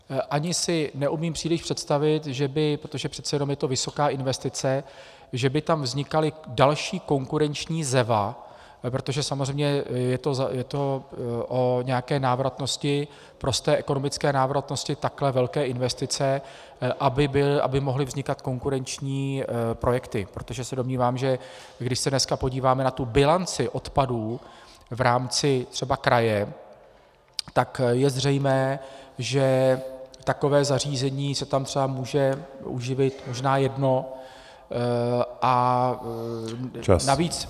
Ani si neumím příliš představit, že by, protože přece jenom je to vysoká investice, že by tam vznikaly další konkurenční ZEVA, protože samozřejmě je to o nějaké návratnosti, prosté ekonomické návratnosti takhle velké investice, aby mohly vznikat konkurenční projekty, protože se domnívám, že když se dneska podíváme na tu bilanci odpadů v rámci třeba kraje, tak je zřejmé, že takové zařízení se tam třeba může uživit možná jedno.